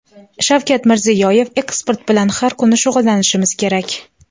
Shavkat Mirziyoyev: Eksport bilan har kuni shug‘ullanishimiz kerak!